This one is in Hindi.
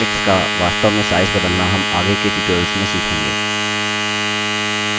objects का वास्तव में size बदलना हम आगे के tutorials में सीखेंगे